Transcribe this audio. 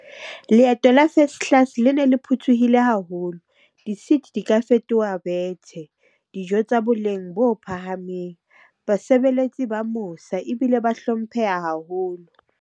Leeto la first class le ne le phuthuhile haholo, di-seat di ka fetoha bethe. Dijo tsa boleng bo phahameng. Basebeletsi ba mosa ebile ba hlompheha haholo.